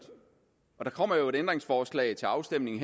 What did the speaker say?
der kommer jo et ændringsforslag til afstemning